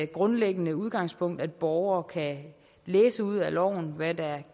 grundlæggende udgangspunkt at borgere kan læse ud af loven hvad der